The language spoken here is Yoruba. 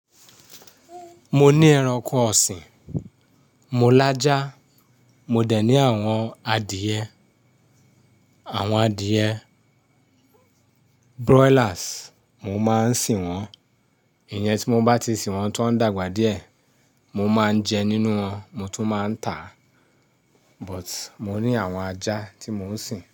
Mo ní ẹranko ọ̀sìn, mo lajà, mo dẹ̀ ní àwọn adìyẹ, àwọn adìyẹ broilers, mo máa ń sìn wọ́n Ìyẹn tí mo bá ti sìn wọ́n tó ń dàgbà díẹ̀, mo máa ń jẹ nínú wọn, mo tún máa ń tà á But(sugbon) mo ní àwọn ajá tí mò ń sìn.